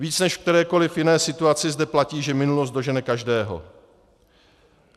Víc než v kterékoliv jiné situaci zde platí, že minulost dožene každého.